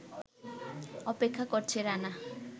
অপেক্ষা করছে রানা